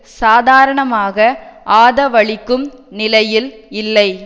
சாதாரணமாக ஆதவளிக்கும் நிலையில் இல்லை